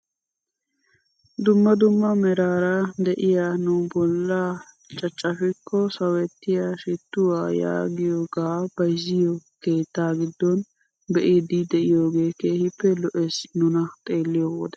Dumma dumma meraara de'iyaa nu bollan caccafikko sawettiyaa shittuwaa yaagiyoogaa bayzziyoo keettaa giddon be'iidi de'iyoogee kehippe lo'ees nuna xeelliyo wode.